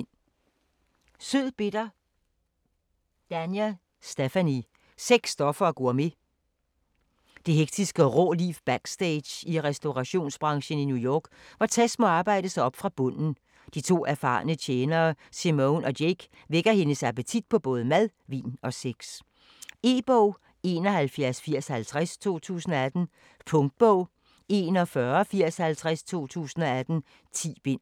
Danler, Stephanie: Sødbitter Sex, stoffer og gourmet. Det hektiske og rå liv backstage i restaurationsbranchen i New York, hvor Tess må arbejde sig op fra bunden. De to erfarne tjenere, Simone og Jake vækker hendes appetit på både mad, vin og sex. E-bog 718050 2018. Punktbog 418050 2018. 10 bind.